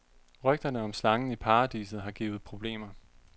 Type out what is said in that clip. Rygterne om slangen i paradiset har givet problemer.